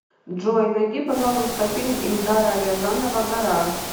джой найди пожалуйста фильм ильдара рязанова гараж